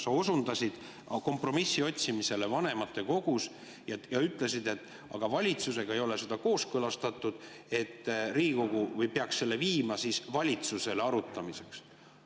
Sa osundasid kompromissi otsimisele vanematekogus ja ütlesid, et aga valitsusega ei ole seda kooskõlastatud, Riigikogu peaks selle viima siis valitsusele arutamiseks.